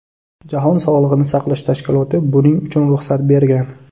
Jahon sog‘liqni saqlash tashkiloti buning uchun ruxsat bergan.